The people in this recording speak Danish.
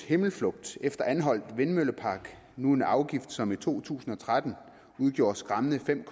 himmelflugt efter anholt vindmøllepark nu en afgift som i to tusind og tretten udgjorde skræmmende fem